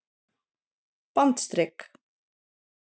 bandstrik